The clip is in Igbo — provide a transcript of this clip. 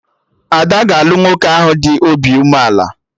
Ada ga-alụ nwoke ahụ dị obi umeala